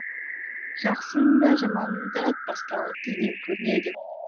жақсының да жаманның да бастауы тілден көрінеді